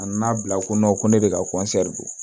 A nan'a bila ko ko ne de ka don